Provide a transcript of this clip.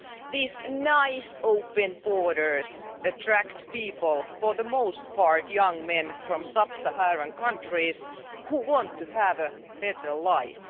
These nice open borders attract people for the most part, young men from sub Saharan countries who want to have a better life.